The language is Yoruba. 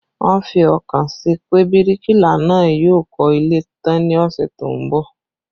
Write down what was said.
Wọ́n fi ọkàn sí pé bíríkìlà náà yóò kọ́ ilé tán ní ọ̀sẹ̀ tó ń bọ̀